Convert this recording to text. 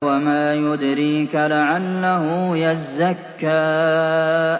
وَمَا يُدْرِيكَ لَعَلَّهُ يَزَّكَّىٰ